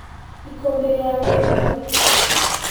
Ikũmbĩ ryagũithio thĩ.